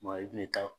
Maa i kun bɛ taa